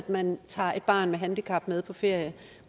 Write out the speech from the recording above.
man tager et barn med handicap med på ferie